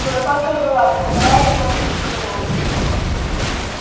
куропатка рвалась ударяя его другим крылом